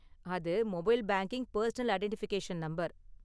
அது mobile banking personal identification number.